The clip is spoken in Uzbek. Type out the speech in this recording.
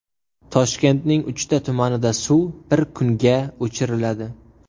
Toshkentning uchta tumanida suv bir kunga o‘chiriladi.